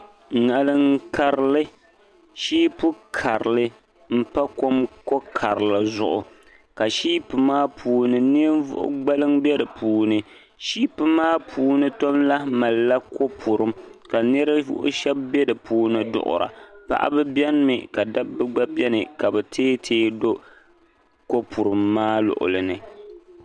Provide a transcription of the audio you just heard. Ŋarinkarli shipu karli npa ko karli zuɣu ka shipu maa puuni ninvuɣ gbaliŋ nbɛ di puuni shipu maa puuni ton lahi malila kopurim ka ninvuɣ shɛb bɛ di puuni duɣura paɣba beni mi ka dabba gba beni ka be tɛɛtɛɛ do kopurim maa luɣli ni